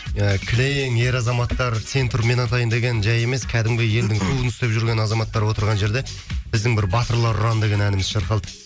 ы кілең ер азаматтар сен тұр мен атайын деген жай емес кәдімгі елдің туын ұстап жүрген азаматтар отырған жерде біздің бір батырлар ұраны деген әніміз шырқалды